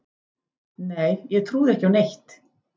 Nei ég trúði ekki á neitt.